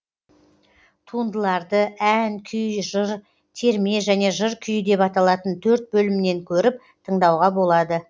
туындыларды ән күй жыр терме және жыр күйі деп аталатын төрт бөлімнен көріп тыңдауға болады